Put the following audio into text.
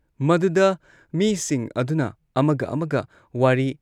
ꯃꯗꯨꯗ ꯃꯤꯁꯤꯡ ꯑꯗꯨꯅ ꯑꯃꯒ ꯑꯃꯒ ꯋꯥꯔꯤ